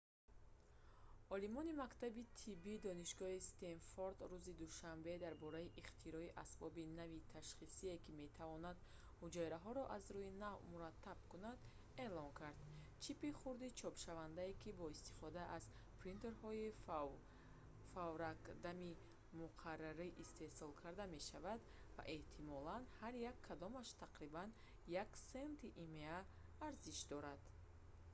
олимони мактаби тибби донишгоҳи стенфорд рӯзи душанбе дар бораи ихтирои асбоби нави ташхисие ки метавонад ҳуҷайраҳоро аз рӯи навъ мураттаб кунад эълон карданд чипи хурди чопшавандае ки бо истифода аз принтерҳои фавракдами муқаррарӣ истеҳсол карда мешавад ва эҳтимолан ҳар як кадомаш тақрибан 1 сенти има арзиш дорад